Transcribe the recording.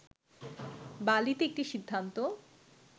বালিতে একটি সিদ্ধান্ত